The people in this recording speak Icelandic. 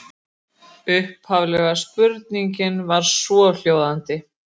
Upphafleg spurning var svohljóðandi: